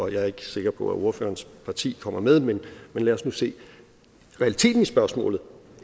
jeg er ikke sikker på at ordførerens parti kommer med men lad os nu se realiteten i spørgsmålet